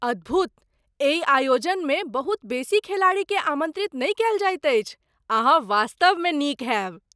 अद्भुत! एहि आयोजनमे बहुत बेसी खेलाड़ीकेँ आमन्त्रित नहि कयल जाइत अछि। अहाँ वास्तवमे नीक होयब!